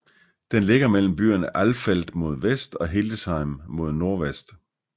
Den ligger mellem byerne Alfeld mod vest og Hildesheim mod nordvest